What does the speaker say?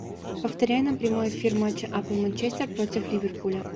повторяй нам прямой эфир матча апл манчестер против ливерпуля